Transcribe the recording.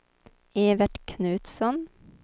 Evert Knutsson